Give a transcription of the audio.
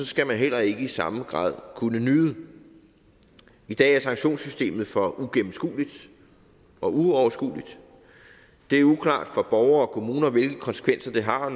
skal man heller ikke i samme grad kunne nyde i dag er sanktionssystemet for uigennemskueligt og uoverskueligt det er uklart for borgere og kommuner hvilke konsekvenser det har